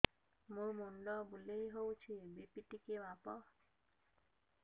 ମୋ ମୁଣ୍ଡ ବୁଲେଇ ହଉଚି ବି.ପି ଟିକେ ମାପ